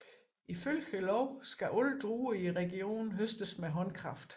Ifølge loven skal alle druer i regionen høstes med håndkraft